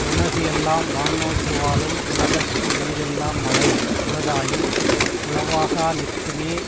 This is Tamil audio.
உலகு எல்லாம் வான் நோக்கி வாழும் உலகத்து உயிர் எல்லாம் மழை உளதாயின் உளவாகா நிற்குமே